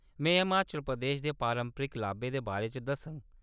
में हिमाचल प्रदेश दे पारंपरिक लाब्बे दे बारे च दस्सङ।